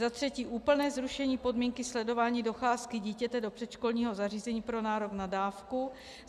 Za třetí úplné zrušení podmínky sledování docházky dítěte do předškolního zařízení pro nárok na dávku.